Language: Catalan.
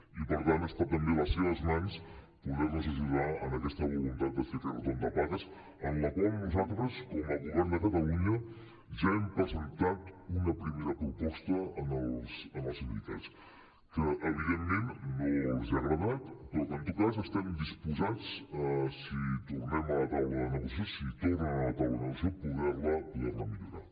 i per tant està també a les seves mans poder nos ajudar en aquesta voluntat de fer aquest retorn de pagues en la qual nosaltres com a govern de catalunya ja hem presentat una primera proposta als sindicats que evidentment no els ha agradat però que en tot cas estem disposats si tornem a la taula de negociació si tornen a la taula de negociació a poder la millorar